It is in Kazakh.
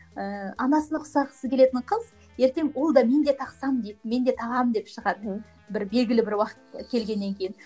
ыыы анасына ұқсағысы келетін қыз ертең ол да менде тақсам дейді мен де тағамын деп шығады мхм белгілі бір уақыт келгеннен кейін